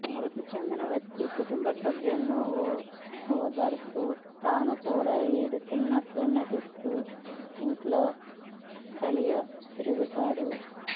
మృతి చెందిన వ్యక్తి కుటుంబ సభ్యులను ఓదారుస్తూ తాను కూడా ఏడుస్తున్నట్లు నటిస్తూ ఇంట్లో కలియతిరుగుతాడు